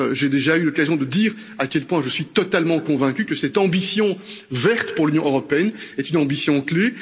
J'ai déjà eu l'occasion de dire à quel point je suis totalement convaincu que cette ambition verte pour l'Union européenne est une ambition clé.